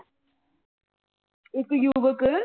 ਇੱਕ ਯੁਵੱਕ